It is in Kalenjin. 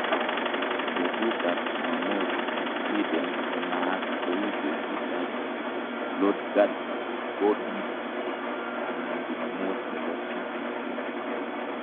Betuta ab Chumamos en Sweden konaat kou betut ab "lordagsgodis" anan chumamos nebo switisiek